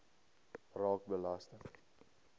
raak belasting